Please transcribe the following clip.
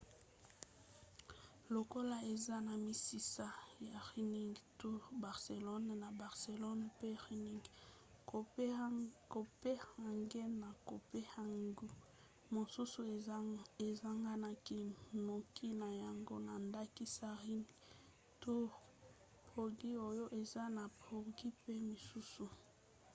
lokola eza na misisa na running tours barcelona na barcelone pe running copenhagen na copenhague mosusu esanganaki noki na yango na ndakisa running tours prague oyo eza na prague mpe misusu